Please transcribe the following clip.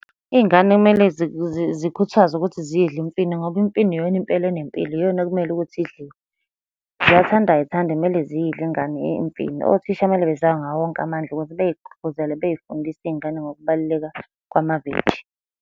Iy'ngane kumele zikhuthazwe ukuthi ziyidle imfino, ngoba imfino iyona impela enempilo, iyona ekumele ukuthi idliwe. Ziyathanda ayithandi kumele ziyidle imfino. Othisha kumele bezame ngawo wonke amandla ukuthi bey'gqugquzele, bey'fundise iy'ngane ngokubaluleka kwamaveji.